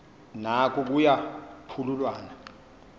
noko kuya phululwana